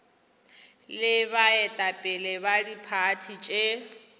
le baetapele ba diphathi tše